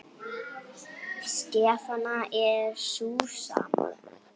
Stefnan er sú sama.